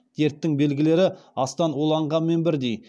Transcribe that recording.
дерттің белгілері астан уланғанмен бірдей